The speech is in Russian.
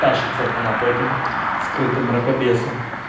тащится она по этим скрытым мракобесам